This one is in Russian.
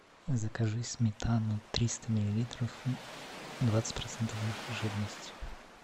закажи сметану триста миллилитров двадцать процентов жирности